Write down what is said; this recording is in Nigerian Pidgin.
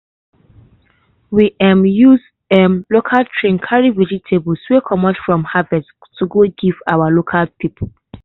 we um use um local tray carry vegetables wey comot from harvest to go give our town people.